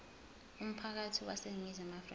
umphakathi waseningizimu afrika